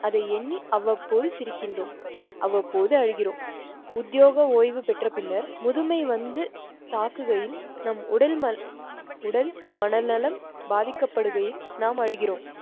அதை எண்ணி அவ்வப்போது சிரிக்கின்றோம். அவ்வப்போது அழுகிறோம். உத்தியோக ஓய்வு பெற்ற பின்னர் முதுமை வந்து தாக்குகையில் நம் உடல் உடல், மனநலம் பாதிக்கப் படுகையில் நாம் அழுகிறோம்.